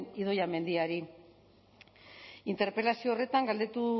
idoia mendiari interpelazio horretan galdetu